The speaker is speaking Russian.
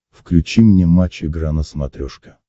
включи мне матч игра на смотрешке